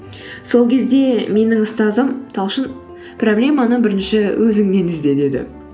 сол кезде менің ұстазым талшын проблеманы бірінші өзіңнен ізде деді